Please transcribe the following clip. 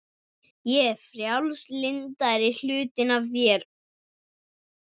Ég er frjálslyndari hlutinn af þér.